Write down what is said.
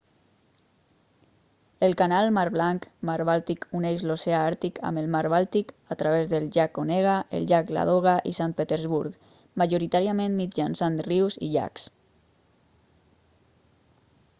el canal mar blancmar bàltic uneix l'oceà àrtic amb el mar bàltic a través del llac onega el llac ladoga i sant petersburg majoritàriament mitjançant rius i llacs